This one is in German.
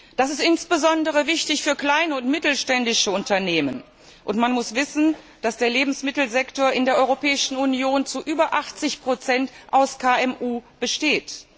Das ist insbesondere wichtig für kleine und mittelständische Unternehmen, und man muss wissen, dass der Lebensmittelsektor in der Europäischen Union zu über 80 aus KMU besteht.